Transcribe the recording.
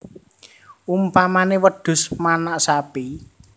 Umpamané wedhus manak sapi